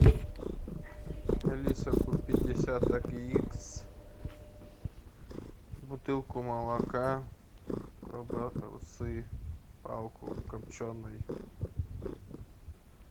алиса купи десяток яиц бутылку молока колбасы палку копченой